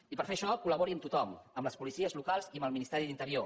i per fer això col·labori amb tothom amb les policies locals i amb el ministeri d’interior